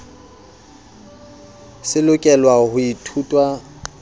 se lokelwa ho ithutwa sethatong